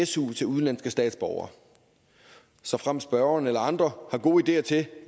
su til udenlandske statsborgere såfremt spørgeren eller andre har gode ideer til